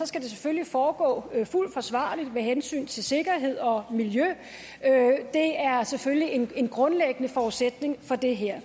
skal det selvfølgelig foregå fuldt forsvarligt med hensyn til sikkerhed og miljø det er selvfølgelig en grundlæggende forudsætning for det her